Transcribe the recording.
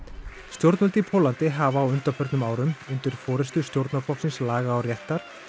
stjórnvöld í Póllandi hafa á undanförnum árum undir forystu stjórnarflokksins laga og réttar